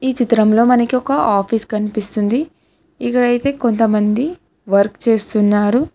ఈ చిత్రంలో మనకి ఒక ఆఫీస్ కన్పిస్తుంది ఇక్కడైతే కొంతమంది వర్క్ చేస్తున్నారు.